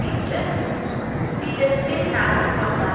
என்று விதத்தில் நடந்து கொண்டார்